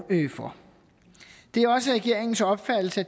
for det er også regeringens opfattelse